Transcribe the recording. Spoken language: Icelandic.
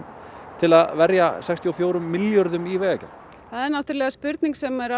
til að verja sextíu og fjórum milljörðum í vegagerð það er spurning sem